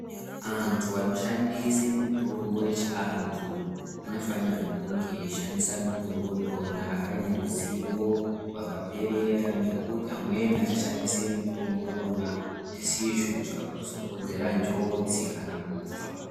Antu anoshandisa mitombo yechiantu anofana kunge veiziva mitombo yona yakaperera ngekuti amweni achashandisi mitombo yona isizvo zvikazokonzera njodzi kana kufa.